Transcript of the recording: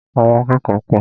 Àwọn akẹ́kọ̀ọ́ pọ̀.